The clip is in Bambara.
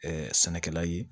sɛnɛkɛla ye